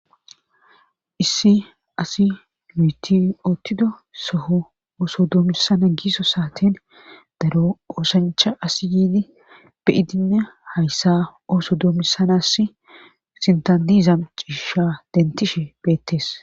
Issi asi nuyti oottido soho ooso doomisana giiso saaten daro oosancha asi yiidi beyidinne hayssa ooso doomisanas sintadizam ciisha dentishe beettes